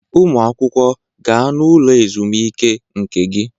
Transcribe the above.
Ụmụ akwụkwọ, gaa n'ụlọ ezumike nke gị.